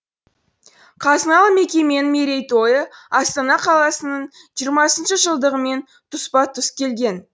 қазыналы мекеменің мерейтойы астана қаласының жиырмасыншы жылдығымен тұспа тұс келген